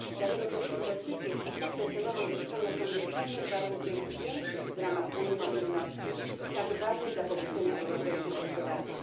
Dlatego też inwestycje w przystępne cenowo mieszkania są niezbędnym warunkiem większej mobilności w ramach Unii, tak ważnej dla pobudzenia europejskiej gospodarki.